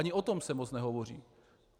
Ani o tom se moc nehovoří.